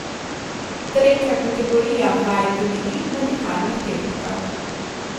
Tretja kategorija vaj temelji na dihalnih tehnikah.